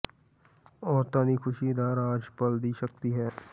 ਔਰਤਾਂ ਦੀ ਖੁਸ਼ੀ ਦਾ ਰਾਜ਼ ਪਲ ਦੀ ਸ਼ਕਤੀ ਹੈ